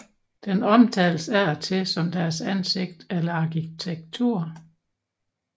Den omtales af og til som deres ansigt eller arkitektur